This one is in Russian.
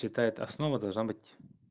читает основа должна быть